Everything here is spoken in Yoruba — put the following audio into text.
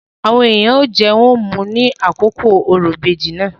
Àwọn èèyàn ó jẹ, wón mu ní àkókò òrò ìbejì náà.